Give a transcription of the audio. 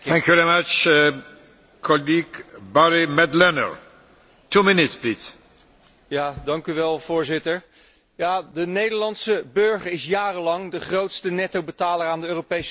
Voorzitter, de Nederlandse burger is jarenlang de grootste nettobetaler aan de Europese Unie geweest en nu is de Nederlandse burger de op één na grootste betaler aan de schulden van Griekenland.